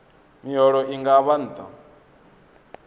miholo i nga vha nṱha